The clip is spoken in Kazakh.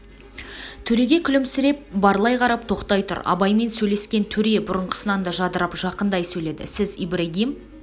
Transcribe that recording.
төреге күлімсіреп барлай қарап тоқтап тұр абаймен сөйлескен төре бұрынғысынан да жадырап жақындай сөйледі сіз ибрагим